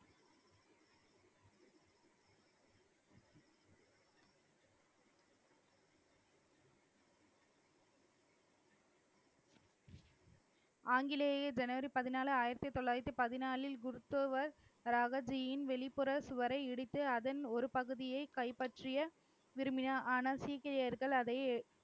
ஆங்கிலேயே ஜனவரி பதினாலு ஆயிரத்தி தொள்ளாயிரத்தி பதினாலில் குருத்தோவர், ரகதியின் வெளிப்புற சுவரை இடித்து, அதன் ஒரு பகுதியே கைப்பற்ற விரும்பினார். ஆனால், சீக்கியர்கள் அதை